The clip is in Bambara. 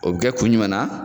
O be kɛ kun jumɛn na?